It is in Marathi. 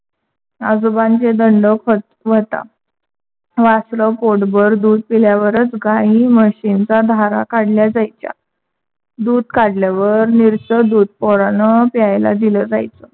आजोबांचे दंडक होता. वासर पोटभर दूध पिल्यावरच गाई म्हशींच्या धारा काढल्या जायच्या. दूध काढल्यावर नीरस दूध पोरांना प्यायला द्यायचा.